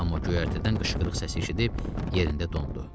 Amma göyərtədən qışqırıq səsi eşidib yerində dondu.